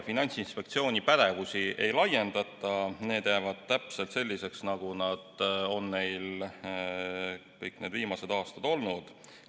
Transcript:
Finantsinspektsiooni pädevust ei laiendata, see jääb täpselt selliseks, nagu see on meil kõik need viimased aastad olnud.